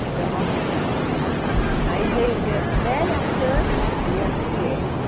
Então... Aí veio veio a Sibeli, a Sandra... E a Silene.